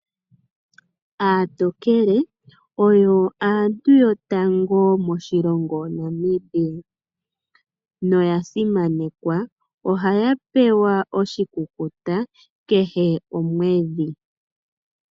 Aatokele oyo aantu yotango moshilongo shaNamibia, noya simanekwa. Ohaya pewa oshikukuta kehe omwedhi.